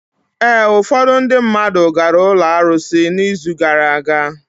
Ee, ufọdụ ndị mmadụ gara ụlọ arụsị n'izu gara aga.